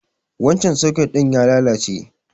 Wancan soket ɗin ya lalace.